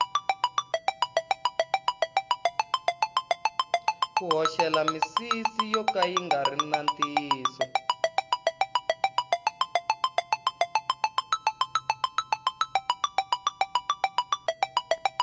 ku hoxela misisi yo ka ya ngari ya ntiyiso